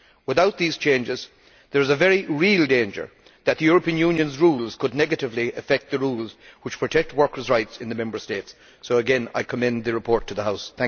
Without these changes, there is a very real danger that the European Union's rules could negatively affect the rules which protect workers' rights in the Member States, so again I commend the report to the House.